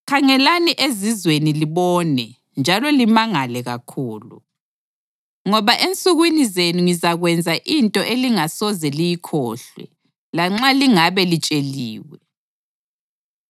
“Khangelani ezizweni libone njalo limangale kakhulu. Ngoba ensukwini zenu ngizakwenza into elingasoze liyikholwe, lanxa lingabe litsheliwe.